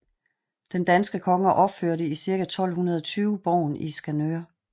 Den danske konge opførte i cirka 1220 borgen i Skanør